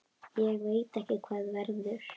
Ég veit ekki hvað verður.